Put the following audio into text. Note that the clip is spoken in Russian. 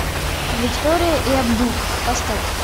виктория и абдул поставь